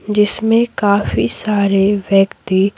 जिसमें काफी सारे व्यक्ति --